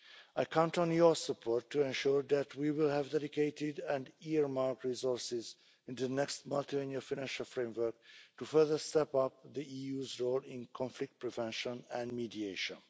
I count on your support to ensure that we will have dedicated and earmarked resources in the next Multiannual Financial Framework to further step up the EU's role in conflict prevention and mediation.